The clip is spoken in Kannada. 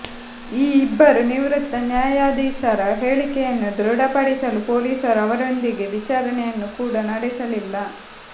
ಈ ಇಬ್ಬರು ನಿವೃತ್ತ ನ್ಯಾಯಾಧೀಶರ ಹೇಳಿಕೆಯನ್ನು ದೃಢಪಡಿಸಲು ಪೊಲೀಸರು ಅವರೊಂದಿಗೆ ವಿಚಾರಣೆಯನ್ನು ಕೂಡಾ ನಡೆಸಲಿಲ್ಲ